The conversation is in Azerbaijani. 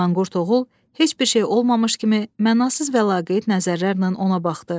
Manqurt oğul heç bir şey olmamış kimi mənasız və laqeyd nəzərlərlə ona baxdı.